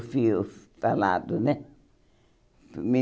falado né